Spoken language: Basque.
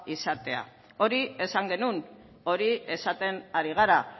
izatea hori esan genuen hori esaten ari gara